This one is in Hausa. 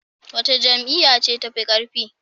Wace Jam'iyya ce tafi karfi?